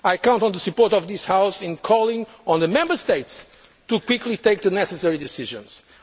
I count on the support of this House in calling on the Member States to take the necessary decisions